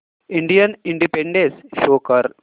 Indian independence day show कर